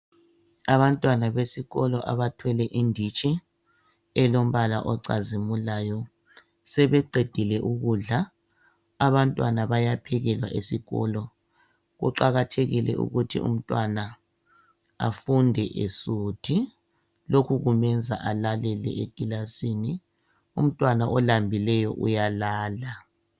Abantwana besikolo abathwele inditshi elombala ocazimulayo, sebeqedile ukudla abantwana bayaphekelwa esikolo kuqakathekile ukuthi abantwana afunde esuthi lokho kumenza alalele eklilasini, umntwana olambileyo uyalala.